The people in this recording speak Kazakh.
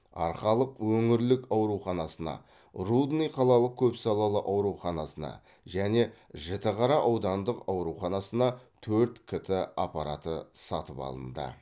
арқалық өңірлік ауруханасына рудный қалалық көпсалалы ауруханасына және жітіқара аудандық ауруханасына төрт кт аппараты сатып алынды